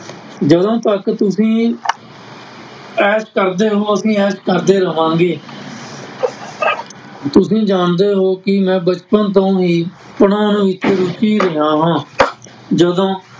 ਜਦੋਂ ਤੱਕ ਤੁਸੀਂ ਐਸ਼ ਕਰਦੇ ਹੋ ਅਸੀਂ ਐਸ਼ ਕਰਦਾ ਰਹਾਂਗੇ ਤੁਸੀਂ ਜਾਣਦੇ ਹੋ ਕਿ ਮੈਂ ਬਚਪਨ ਤੋਂ ਹੀ ਪੜ੍ਹਾਉਣ ਵਿੱਚ ਰੁੱਚੀ ਰਿਹਾ ਹਾਂ ਜਦੋਂ